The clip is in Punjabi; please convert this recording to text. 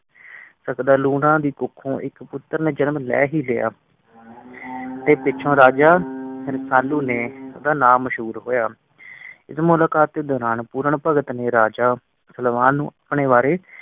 ਲੂਣਾ ਦੀ ਕੌਖ ਓ ਇਕ ਪੁਤਰ ਨੇ ਜਨਮ ਲਈ ਹੀ ਲਿਆ। ਤੇ ਪਿੱਛੋਂ ਰਾਜਾ ਨਾਮ ਮਸ਼ਹੂਰ ਹੋਇਆ। ਇਸ ਮੁਲਾਕਾਤ ਦੇ ਦੌਰਾਨ ਪੂਰਨ ਭਗਤ ਨੇ ਰਾਜਾ ਸਲਵਾਨ ਨੂੰ ਆਪਣੇ ਬਾਰੇ